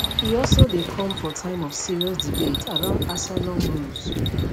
e also dey come for time of serious debate around asylum rules